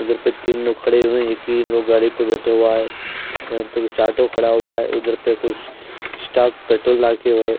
उधर पे तीन लोग खड़े हुए हैं एक ही लोग गाड़ी पे बैठे हुआ है। यहां पे कुछ ऑटो खड़ा हुआ है उधर पे कुछ स्टॉक पेट्रोल लाके हुए-